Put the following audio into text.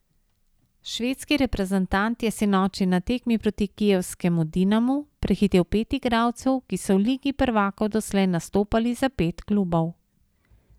Švedski reprezentant je sinoči na tekmi proti kijevskemu Dinamu prehitel pet igralcev, ki so v ligi prvakov doslej nastopali za pet klubov.